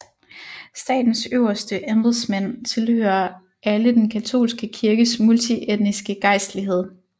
Statens øverste embedsmænd tilhører alle den katolske kirkes multietniske gejstlighed